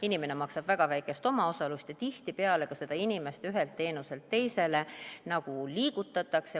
Inimene maksab väga väikest omaosalust ja tihtipeale liigutatakse inimest ühelt teenuselt teisele.